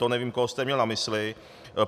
To nevím, koho jste měl na mysli.